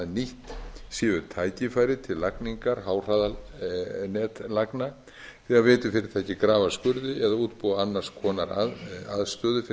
nýtt séu tækifæri til lagningar háhraðanetlagna þegar veitufyrirtæki grafa skurði eða útbúa annars konar aðstöðu fyrir